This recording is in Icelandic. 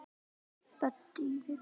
Böddi í Vigur.